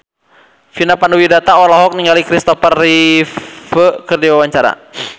Vina Panduwinata olohok ningali Kristopher Reeve keur diwawancara